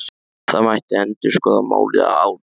Það mætti endurskoða málið að ári.